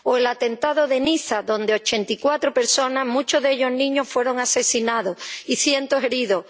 ¿O el atentado de Niza, donde ochenta y cuatro personas, —muchos de ellos niños— fueron asesinadas y hubo cientos de heridos?